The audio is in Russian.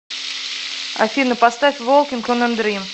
афина поставь волкинг он э дрим